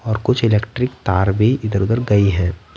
और कुछ इलेक्ट्रिक तार भी इधर-उधर गई हैं।